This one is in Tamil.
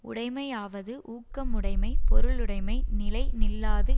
உடைமையாவது ஊக்கமுடைமை பொருளுடைமை நிலை நில்லாது